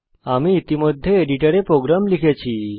আমি ইতিমধ্যে এডিটরে প্রোগ্রাম লিখেছি